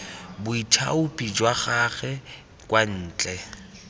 boithaopi jwa gagwe kwa ntle